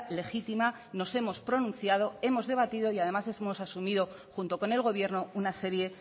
legítima nos hemos pronunciado hemos debatido y además hemos asumido junto con el gobierno una serie